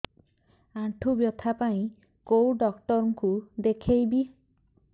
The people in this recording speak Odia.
ଆଣ୍ଠୁ ବ୍ୟଥା ପାଇଁ କୋଉ ଡକ୍ଟର ଙ୍କୁ ଦେଖେଇବି